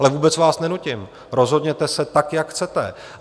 Ale vůbec vás nenutím, rozhodněte se tak, jak chcete.